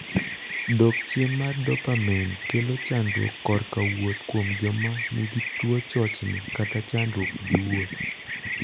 Dok chien mar dopamain kelo chandruok korka wuoth kuom jok man gi tuo chochni (chandruok) gi wuoth.